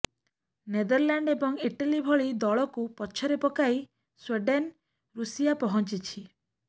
Netherland ଏବଂ Italy ଭଳି ଦଳକୁ ପଛରେ ପକାଇ ସ୍ୱିଡେନ୍ ରୁଷିଆ ପହଞ୍ଚିଛି